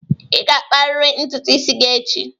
Ị ga-akpariri ntutu isi gị echi!